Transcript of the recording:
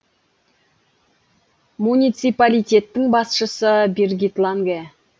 муниципалитеттің басшысы биргит ланге